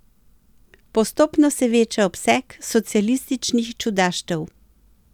Postopno se veča obseg socialističnih čudaštev.